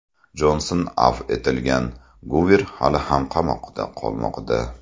Jonson afv etilgan, Guver hali ham qamoqda qolmoqda.